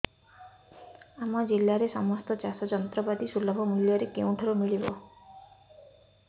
ଆମ ଜିଲ୍ଲାରେ ସମସ୍ତ ଚାଷ ଯନ୍ତ୍ରପାତି ସୁଲଭ ମୁଲ୍ଯରେ କେଉଁଠାରୁ ମିଳିବ